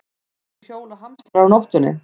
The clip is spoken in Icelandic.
Af hverju hjóla hamstrar á nóttinni?